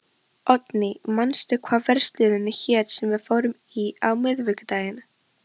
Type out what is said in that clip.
Oddný, manstu hvað verslunin hét sem við fórum í á miðvikudaginn?